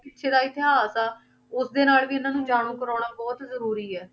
ਪਿੱਛੇ ਦਾ ਇਤਿਹਾਸ ਆ ਉਸਦੇ ਨਾਲ ਵੀ ਇਹਨਾਂ ਨੂੰ ਜਾਣੂ ਕਰਵਾਉਣਾ ਬਹੁਤ ਜ਼ਰੂਰੀ ਹੈ।